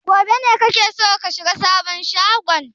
Gobe ne kake so ka shiga sabon shagon?